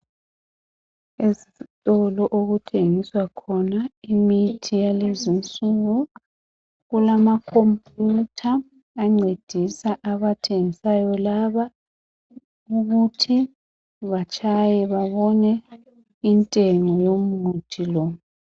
Ezitolo okuthengiswa khona imithi yakulezi insuku kulamakhompiyutha ancedisa abathengisayo laba ukuthi batshaye babone intengo yomuthi lo.